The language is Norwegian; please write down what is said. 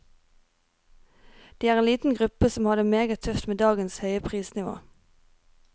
De er en liten gruppe som har det meget tøft med dagens høye prisnivå.